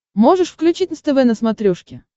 можешь включить нств на смотрешке